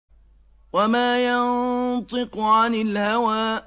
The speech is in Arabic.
وَمَا يَنطِقُ عَنِ الْهَوَىٰ